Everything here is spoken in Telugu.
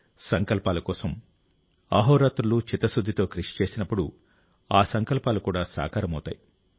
సంకల్పాల కోసం అహోరాత్రులు చిత్తశుద్ధితో కృషి చేసినప్పుడు ఆ సంకల్పాలు కూడా సాకారమవుతాయి